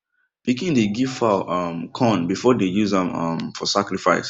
pikin dey give fowl um corn before dem use am um for sacrifice